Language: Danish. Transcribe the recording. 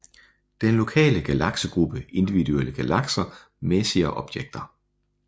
Den lokale galaksegruppe Individuelle galakser Messier objekter